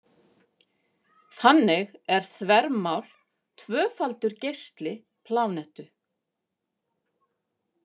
Þannig er þvermál tvöfaldur geisli plánetu.